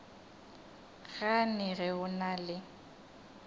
gane ge o na le